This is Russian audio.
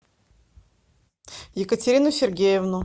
екатерину сергеевну